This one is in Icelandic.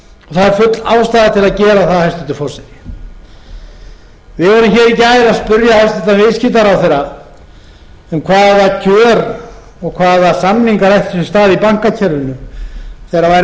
það er full ástæða til að gera það hæstvirtur forseti við vorum hér í gær að spyrja hæstvirtur viðskiptaráðherra um hvaða kjör og hvaða samningar ættu sér stað í bankakerfinu þegar væri verið að yfirtaka lán frá